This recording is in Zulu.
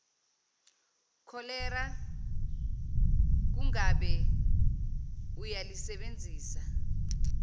kholera kungabe uyalisebenzisa